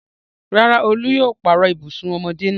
Rárá, Olú yóò pààrọ̀ ibùsùn ọmọdé náà.